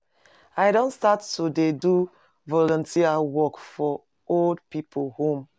I don start to dey do volunteer work for old pipu home.